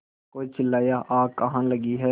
कोई चिल्लाया आग कहाँ लगी है